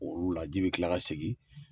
Olu la ji bi kila ka segin